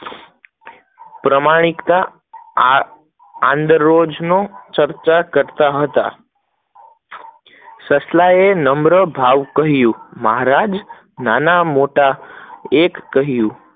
પ્રામાણિકતા આદરોજ ની ચર્ચ કરતા હતા, સસલા ને નમ્ર ભાવ કહીંયુ, મહારાજ નં મોટા એક કહીંયુ